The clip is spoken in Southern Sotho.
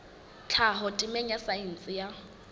tlhaho temeng ya saense ya